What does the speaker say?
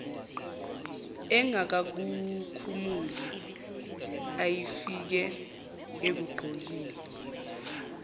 engakakukhumuli ayefike ekugqokile